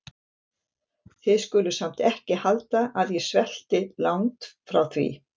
Þið skuluð samt ekki halda að ég svelti- langt því frá.